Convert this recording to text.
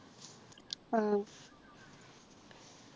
ആഹ്